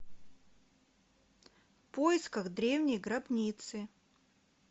в поисках древней гробницы